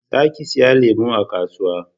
Za ka siyo lemu a kasuwa